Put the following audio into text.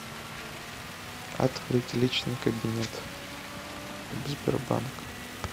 открыть личный кабинет сбербанка